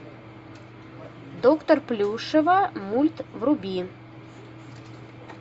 доктор плюшева мульт вруби